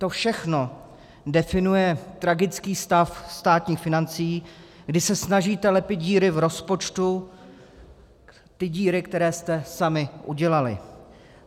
To všechno definuje tragický stav státních financí, kdy se snažíte lepit díry v rozpočtu, ty díry, které jste sami udělali.